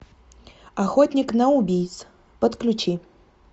охотник на убийц подключи